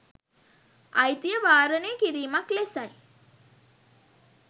අයිතිය වාරණය කිරීමක් ලෙසයි